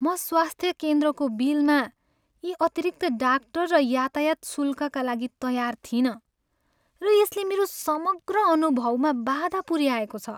म स्वास्थ्य केन्द्रको बिलमा यी अतिरिक्त डाक्टर र यातायात शुल्कका लागि तयार थिइनँ, र यसले मेरो समग्र अनुभवमा बाधा पुऱ्याएको छ।